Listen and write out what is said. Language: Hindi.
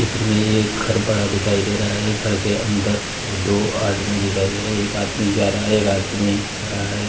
चित्र में ये एक बड़ा-सा घर दिखाई दे रहा है घर के अंदर ये दो आदमी दिखाई दे रहा है एक आदमी जा रहा है एक आदमी खड़ा है।